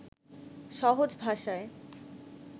সহজ ভাষায়